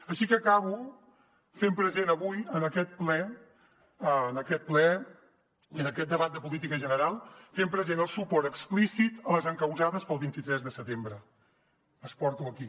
així que acabo fent present avui en aquest ple i en aquest debat de política general el suport explícit a les encausades pel vint tres de setembre les porto aquí